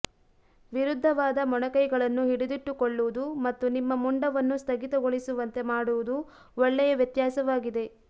ವಿರುದ್ಧವಾದ ಮೊಣಕೈಗಳನ್ನು ಹಿಡಿದಿಟ್ಟುಕೊಳ್ಳುವುದು ಮತ್ತು ನಿಮ್ಮ ಮುಂಡವನ್ನು ಸ್ಥಗಿತಗೊಳಿಸುವಂತೆ ಮಾಡುವುದು ಒಳ್ಳೆಯ ವ್ಯತ್ಯಾಸವಾಗಿದೆ